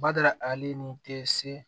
Badala ale ni te se